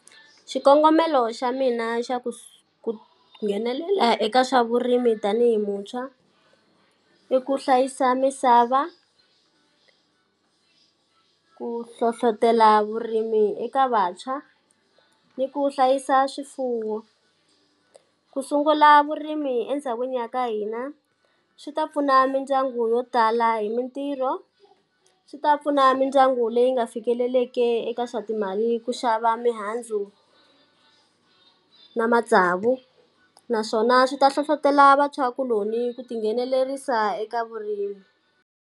Xikongomelo xa mina xa ku ku nghenelela eka swa vurimi tanihi muntshwa, i ku hlayisa misava ku hlohletela vurimi eka vantshwa, ni ku hlayisa swifuwo. Ku sungula vurimi endhawini ya ka hina swi ta pfuna mindyangu yo tala hi mitirho, swi ta pfuna mindyangu leyi nga fikeleleki eka swa timali ku xava mihandzu na matsavu, naswona swi ta hlohletela vantshwakuloni ku ti nghenelerisa eka vurimi.